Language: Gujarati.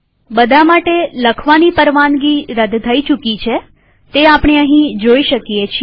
બધા માટે રાઇટ પરવાનગી રદ થઇ ચુકી છે તે અહીંયા આપણે જોઈ શકીએ છીએ